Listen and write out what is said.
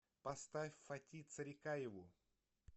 поставь фати царикаеву